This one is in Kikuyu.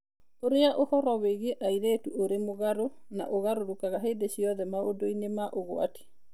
Ũrĩa ũhoro wĩgiĩ airĩtu ũrĩ mũgarũ na ũgarũrũkaga hĩndĩ ciothe maũndũ-inĩ ma ũgwati.